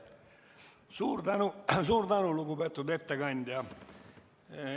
Suur tänu, lugupeetud ettekandja!